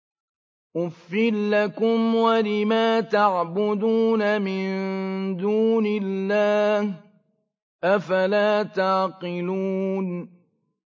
أُفٍّ لَّكُمْ وَلِمَا تَعْبُدُونَ مِن دُونِ اللَّهِ ۖ أَفَلَا تَعْقِلُونَ